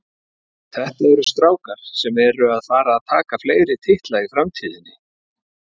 Þetta eru strákar sem eru að fara að taka fleiri titla í framtíðinni.